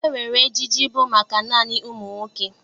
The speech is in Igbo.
E nwere ejiji bụ maka naanị ụmụ nwoke.